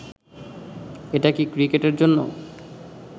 এটা কি ক্রিকেটের জন্য